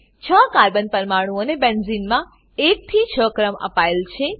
છ કાર્બન પરમાણુઓને બેન્ઝીનમાં 1 થી 6 ક્રમ અપાયેલ છે